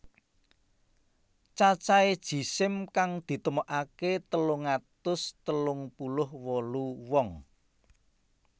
Cacahé jisim kang ditemokaké telung atus telung puluh wolu wong